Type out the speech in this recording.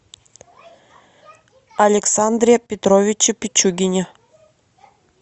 александре петровиче пичугине